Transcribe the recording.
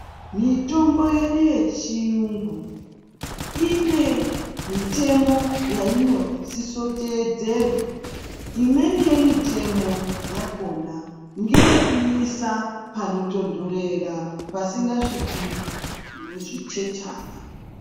Mitombo yedu yechiyungu ine mitemo yainosisa kutedzerwa. Imweni yemitemo yakona ngeyekuisa panotondorera pasinga sviki zvichechana.